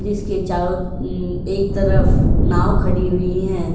जिसके चारों उम एक तरफ नाव खड़ी हुई है।